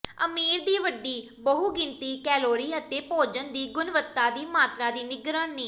ਅਮੀਰ ਦੀ ਵੱਡੀ ਬਹੁਗਿਣਤੀ ਕੈਲੋਰੀ ਅਤੇ ਭੋਜਨ ਦੀ ਗੁਣਵੱਤਾ ਦੀ ਮਾਤਰਾ ਦੀ ਨਿਗਰਾਨੀ